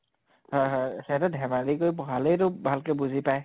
হয় হয় হিহঁতে ধেমালি কৰি পঢ়ালেইতো ভালকে বুজি পায়